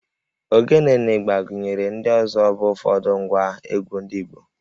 Ogene na ịgbà gụnyere ndị ọzọ bụ ụfọdụ ngwa egwú ndị Igbo